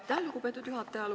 Aitäh, lugupeetud juhataja!